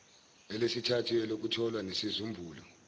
elesithathu elokutholwa nesizumbulu